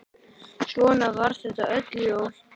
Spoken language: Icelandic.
Svona var þetta öll jól.